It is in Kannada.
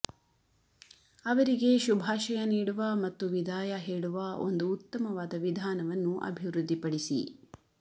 ಅವರಿಗೆ ಶುಭಾಶಯ ನೀಡುವ ಮತ್ತು ವಿದಾಯ ಹೇಳುವ ಒಂದು ಉತ್ತಮವಾದ ವಿಧಾನವನ್ನು ಅಭಿವೃದ್ಧಿಪಡಿಸಿ